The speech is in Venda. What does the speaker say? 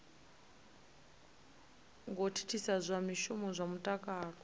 ngo thithisa zwishumiswa zwa mutakalo